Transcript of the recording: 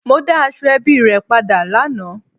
Mo da Asoebi re pada lana